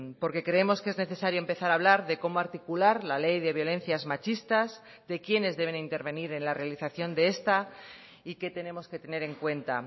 porque creemos que es necesario empezar a hablar de cómo articular la ley de violencias machistas de quienes deben intervenir en la realización de esta y qué tenemos que tener en cuenta